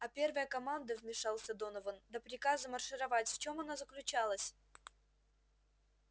а первая команда вмешался донован до приказа маршировать в чём она заключалась